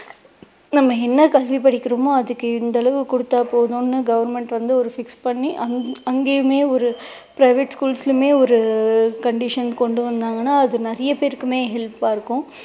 நம்ம என்ன கல்வி படிக்கிறோமோ அதுக்கு இந்த அளவு கொடுத்தா போதும்னு government வந்து ஒரு fix பண்ணி அங்கயுமே ஒரு private schools லயுமே ஒரு conditions கொண்டு வந்தாங்கன்னா அது நிறைய பேருக்குமே help ஆ இருக்கும்.